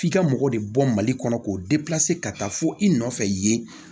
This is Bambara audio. F'i ka mɔgɔ de bɔ mali kɔnɔ k'o ka taa fo i nɔfɛ yen